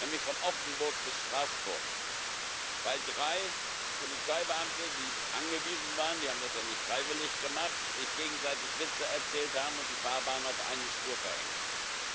Nämlich von Offenburg bis Straßburg, weil drei Polizeibeamte, die angewiesen waren die haben das ja nicht freiwillig gemacht sich gegenseitig Witze erzählt haben und die Fahrbahn auf eine Spur verengt ist.